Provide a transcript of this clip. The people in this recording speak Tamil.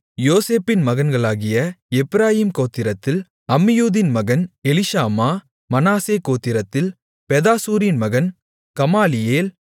யோசேப்பின் மகன்களாகிய எப்பிராயீம் கோத்திரத்தில் அம்மியூதின் மகன் எலிஷாமா மனாசே கோத்திரத்தில் பெதாசூரின் மகன் கமாலியேல்